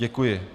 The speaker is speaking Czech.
Děkuji.